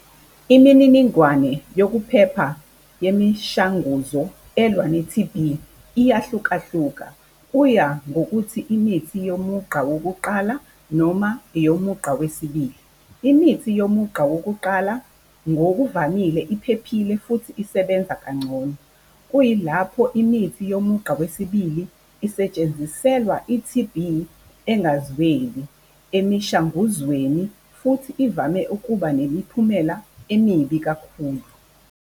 Imininingwane yokuphepha yemishanguzo elwa ne-T_B iyahlukahluka. Kuya ngokuthi imithi yomugqa wokuqala noma eyomugqa wesibili. Imithi yomugqa wokuqala ngokuvamile iphephile futhi isebenza kangcono. Kuyilapho imithi yomugqa wesibili isetshenziselwa i-T_B engazweli emishanguzweni futhi ivame ukuba nemiphumela emibi kakhulu.